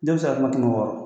Jɔn bɛ se ka kuma kɛmɛ wɔɔrɔ